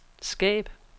skab